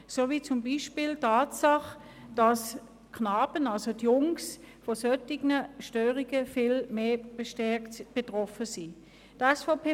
Ich möchte zum Beispiel auf die Tatsache hinweisen, dass Jungen von solchen Störungen viel stärker betroffen sind als Mädchen.